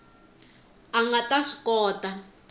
a nga ta swi kota